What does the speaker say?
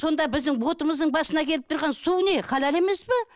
сонда біздің бұтымыздың басына келіп тұрған су не халал емес пе